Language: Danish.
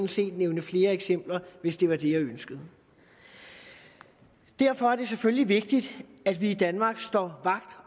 set nævne flere eksempler hvis det var det jeg ønskede derfor er det selvfølgelig vigtigt at vi i danmark står vagt